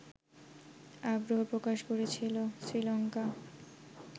আগ্রহ প্রকাশ করেছিল শ্রীলঙ্কা